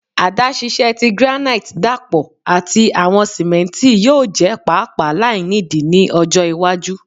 Adaṣiṣẹ ti granite dapọ ati awọn simenti yoo jẹ paapaa lainidi ni ọjọ iwaju